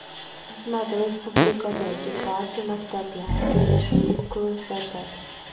Xizmat respublikadagi barcha maktablar joylashuvini ko‘rsatadi.